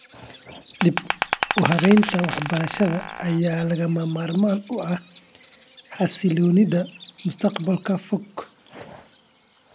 Dib-u-habaynta waxbarashada ayaa lagama maarmaan u ah xasilloonida mustaqbalka fog.